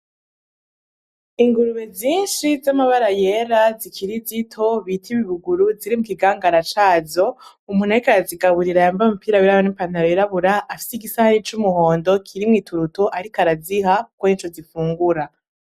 Ingurube zinshi z'amabara yera zikiri zito bita ibibuguru, ziri mu kigangara cazo. Umuntu ariko arazigaburira yambaye umupira yirabura n'ipantaro yirabura, afise igisahani c'umuhondo kirimwo ituruto ariko araziha. Kuko nico zifungura.